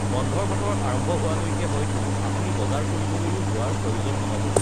বন্ধৰ বতৰ আৰম্ভ হোৱালৈকে হয়তো আপুনি বজাৰ কৰিবলৈও যোৱাৰ প্ৰয়োজন নহ'ব!